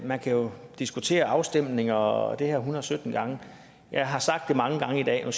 man kan diskutere afstemninger og det her hundrede sytten gange jeg har sagt det mange gange i dag og